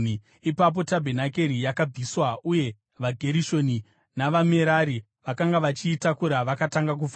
Ipapo tabhenakeri yakabviswa, uye vaGerishoni navaMerari, vakanga vachiitakura, vakatanga kufamba.